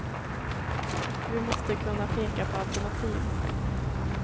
Och vi måste kunna peka på alternativ.